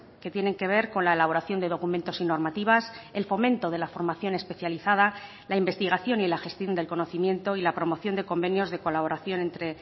que tienen que ver con la elaboración de documentos y normativas el fomento de la formación especializada la investigación y la gestión del conocimiento y la promoción de convenios de colaboración entre